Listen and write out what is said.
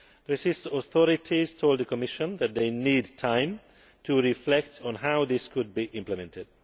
The Swiss authorities told the Commission that they need time to reflect on how this could be implemented.